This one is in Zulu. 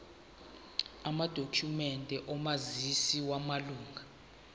amadokhumende omazisi wamalunga